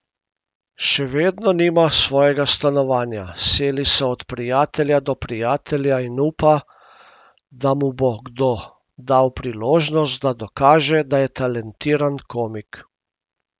Še vedno nima svojega stanovanja, seli se od prijatelja do prijatelja in upa, da mu bo kdo dal priložnost, da dokaže, da je talentiran komik.